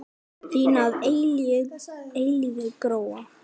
Þín að eilífu, Gróa.